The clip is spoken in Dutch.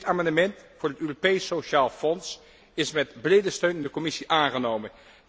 Dit amendement voor het Europees Sociaal Fonds is met brede steun in de commissie aangenomen.